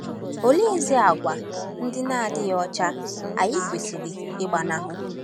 Oleezi àgwà ndị na-adịghị ọcha anyị kwesịrị ịgbanahụ?